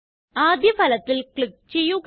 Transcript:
ആദ്യ ഫലത്തില് ക്ലിക്ക് ചെയ്യുക